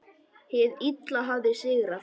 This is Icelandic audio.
Hið illa hafði sigrað.